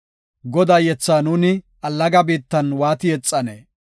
Godaa yethaa nuuni allaga biittan waati yexanee?